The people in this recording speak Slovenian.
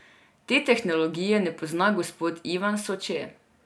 Te tehnologije ne pozna gospod Ivan Soče.